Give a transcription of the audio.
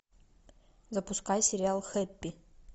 запускай сериал хэппи